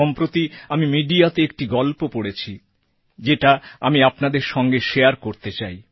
সম্প্রতি আমি মিডিয়াতে একটি গল্প পড়েছি যেটা আমি আপনাদের সঙ্গে শারে করতে চাই